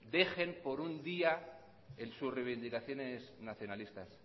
dejen por un día sus reivindicaciones nacionalistas